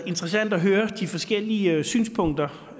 interessant at høre de forskellige synspunkter